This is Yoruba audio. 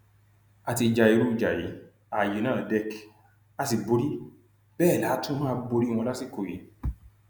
a ti ja irú ìjà yìí ààyè na dec a sì borí bẹẹ la tún máa borí wọn lásìkò yìí